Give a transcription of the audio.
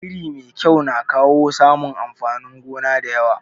Iri mai kyau na kawo samun amfanin gona da yawa.